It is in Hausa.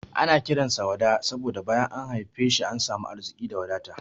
Ana kiran sa Wada saboda bayan an haife shi an samu arziki da wadata.